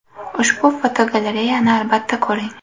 Ushbu fotogalereyani albatta ko‘ring .